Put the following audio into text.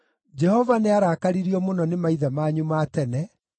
“Jehova nĩarakaririo mũno nĩ maithe manyu ma tene.